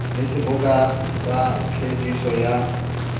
le seboka sa phediso ya